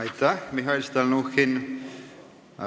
Aitäh, Mihhail Stalnuhhin!